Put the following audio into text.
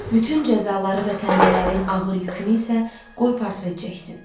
Bütün cəzaları və tənələrin ağır yükünü isə qoy portret çəksin.